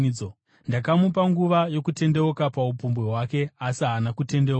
Ndakamupa nguva yokutendeuka paupombwe hwake, asi haana kutendeuka.